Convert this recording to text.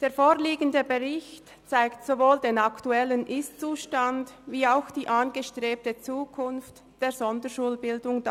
Der vorliegende Bericht zeigt sowohl den aktuellen Ist-Zustand als auch die angestrebte Zukunft der Sonderschulbildung